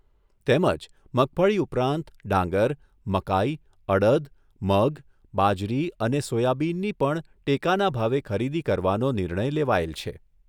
તેમજ મગફળી ઉપરાંત ડાંગર, મકાઈ, અડદ, મગ, બાજરી અને સોયાબીનની પણ ટેકાના ભાવે ખરીદી કરવાનો નિર્ણય લેવાયેલ છે.